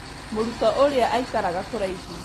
Mũrutwo ũrĩa aikaraga kũraihu